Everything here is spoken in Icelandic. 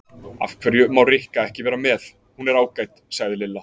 Af hverju má Rikka ekki vera með, hún er ágæt sagði Lilla.